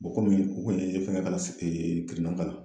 Bɔn u kun ye fɛngɛ k'a la kirinan k'a la